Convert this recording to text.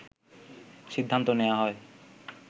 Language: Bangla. সিদ্ধান্ত নেয়া হয়